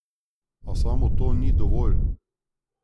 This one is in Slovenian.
A samo to ni dovolj.